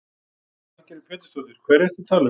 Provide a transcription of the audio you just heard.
Lillý Valgerður Pétursdóttir: Hverja ertu að tala um?